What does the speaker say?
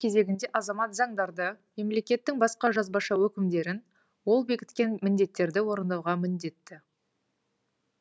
кезегінде азамат заңдарды мемлекеттің басқа жазбаша өкімдерін ол бекіткен міндеттерді орындауға міндетті